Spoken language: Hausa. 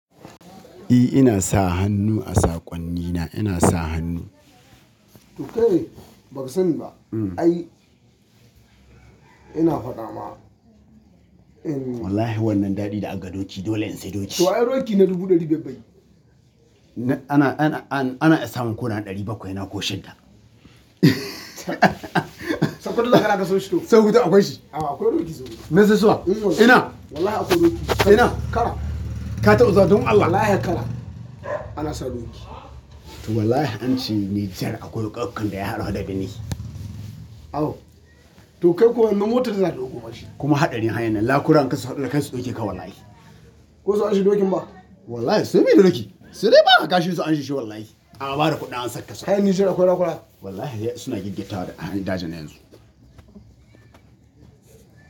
E, ina sa hannu a saƙonnina. Ina sa hannu. Tu kai? Ba ka sanni ba. Ai. Ina faɗa ma. Wallahi wannan daɗi da aga doki, dole in sayi doki. Toh ai dokin ne dubu dari biyar biyar Ana, ana, an, ana iya samun ko na ɗari bakwai na ko shida. Sakwarin zakara ka so shito. Sau huɗu akwai shi? A akwai doki sau huɗu. Menzissuwa? Em. Ina? Wallahi akwai doki. Ina? Kara. Ka taba zuwa, don Allah. Wallahi kara. Ana sa doki. To wallahi ance Nijar akwai roƙoƙo da ya haɗu da gini. Oh! To kai ko wannan motar za ta ɗauko mashi. Kuma haɗari hayan nan, lakura an kaso, ka su ɗauke ka wallahi. Ko su anshi dokin ba? Wallahi sai muyi doki. Sai dai baka shi su anshi shi wallahi. A ba da kuɗin an saka sakwa. Hayani shida akwai rakola. Wallahi suna giggi tare a hanyar Dajin yanzu.